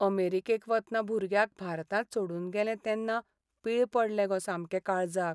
अमेरिकेक वतना भुरग्याक भारतांत सोडून गेलें तेन्ना पीळ पडले गो सामके काळजाक.